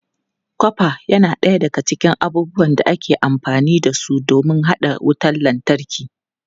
Kofa yana ɗaya daga cikin abubuwan da aka fi amfani da su don haɗa wutar lantarki.